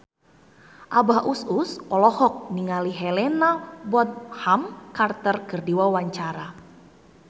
Abah Us Us olohok ningali Helena Bonham Carter keur diwawancara